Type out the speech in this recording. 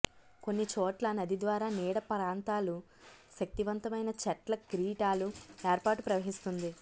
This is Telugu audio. కొన్ని చోట్ల నది ద్వారా నీడ ప్రాంతాలు శక్తివంతమైన చెట్ల కిరీటాలు ఏర్పాటు ప్రవహిస్తుంది